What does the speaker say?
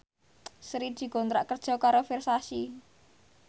Sri dikontrak kerja karo Versace